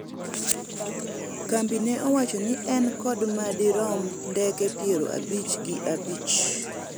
kambi no owacho ni en kod madirom ndeke piero abich gi abich